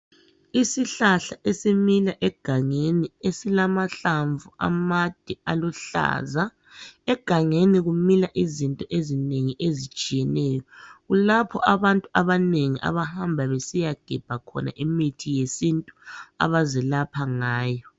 Isihlahla esimila egangeni esilamahlamvu amade aluhlaza, egangeni kumila izinto ezinengi ezitshiyeneyo, kulapho abantu abanengi abahamba besiyagebha khona imithi yesintu abazelapha ngayo.